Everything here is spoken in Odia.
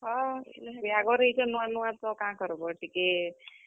ବିହାଘର ଆଇଛ ନୂଆ ନୂଆ ତ କାଁ କର୍ ବ ଟିକେ।